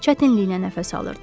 Çətinliklə nəfəs alırdı.